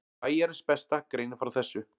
Bæjarins besta greinir frá þessu.